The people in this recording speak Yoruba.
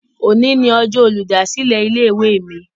Òní ní ọjọ́ olùdásílẹ̀ ilé-ìwé mi